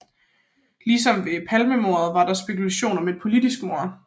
Ligesom ved Palmemordet var der spekulation om et politisk mord